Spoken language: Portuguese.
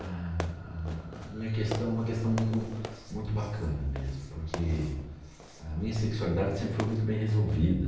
A a a minha questão é uma questão muito muito bacana mesmo, porque a minha sexualidade sempre foi muito bem resolvida.